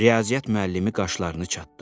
Riyaziyyat müəllimi qaşlarını çatdı.